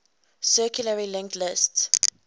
circularly linked list